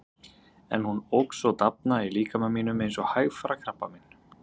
En hún óx og dafnaði í líkama mínum eins og hægfara krabbamein.